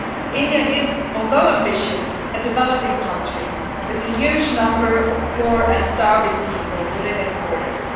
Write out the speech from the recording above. India, although ambitious, is a developing country with a huge number of poor and starving people within its borders.